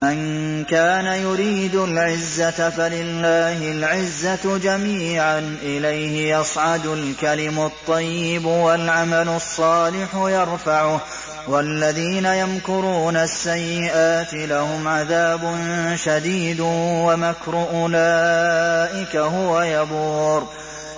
مَن كَانَ يُرِيدُ الْعِزَّةَ فَلِلَّهِ الْعِزَّةُ جَمِيعًا ۚ إِلَيْهِ يَصْعَدُ الْكَلِمُ الطَّيِّبُ وَالْعَمَلُ الصَّالِحُ يَرْفَعُهُ ۚ وَالَّذِينَ يَمْكُرُونَ السَّيِّئَاتِ لَهُمْ عَذَابٌ شَدِيدٌ ۖ وَمَكْرُ أُولَٰئِكَ هُوَ يَبُورُ